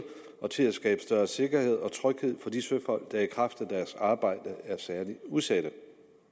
og til at skabe større sikkerhed og tryghed for de søfolk der i kraft af deres arbejde er særlig udsatte